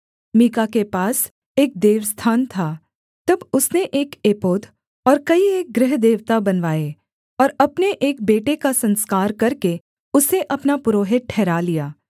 मीका के पास एक देवस्थान था तब उसने एक एपोद और कई एक गृहदेवता बनवाए और अपने एक बेटे का संस्कार करके उसे अपना पुरोहित ठहरा लिया